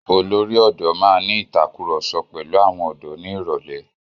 Olórí ọ̀dọ́ máa ní ìtàkurọ̀sọ pẹ̀lu àwọn ọ̀dọ́ ìlú ní ìrọ̀lẹ́.